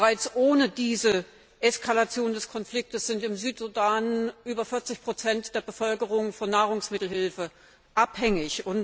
Bereits ohne diese Eskalation des Konflikts sind im Südsudan über 40 der Bevölkerung von Nahrungsmittelhilfe abhängig.